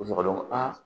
U b'a dɔn ko aa